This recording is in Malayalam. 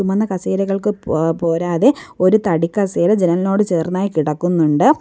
ചുവന്ന കസേരകൾക്ക് പോ പോരാതെ ഒരു തടി കസേര ജനലിനോട് ചേർന്നായി കിടക്കുന്നുണ്ട്.